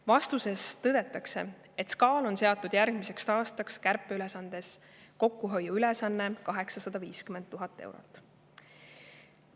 Vastuses tõdetakse, et SKA-le on seatud järgmiseks aastaks ülesanne hoida kokku 850 000 eurot.